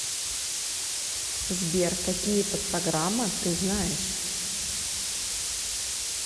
сбер какие подпрограмма ты знаешь